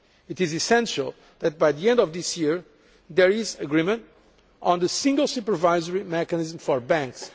It is essential that by the end of this year there is agreement on the single supervisory mechanism for banks.